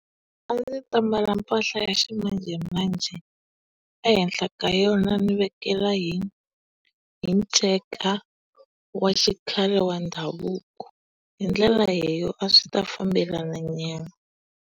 A ndzi ta mbala mpahla ya ximanjhemanjhe. Ehenhla ka yona ni vekela hi nceka wa xikhale wa ndhavuko. Hi ndlela leyo a swi ta fambelana nyana.